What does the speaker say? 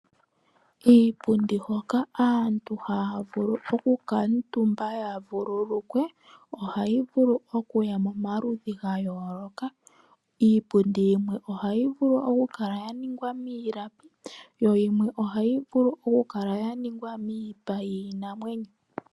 Iipundi hoka aantu haa vulu okukuutumba ya vululukwe ohayi vulu oku ya momaludhi ga yooloka. Iipundi yimwe ohayi vulu okukala ya ningwa miilapi, yo yimwe ohayi vulu okukala ya ningwa miipa yiinamwenyo.